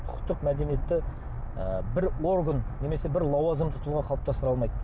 құқықтық мәдениетті ы бір орган немесе бір лауазымды тұлға қалыптастыра алмайды